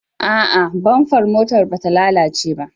A'a, bamfar motar bata lalace ba.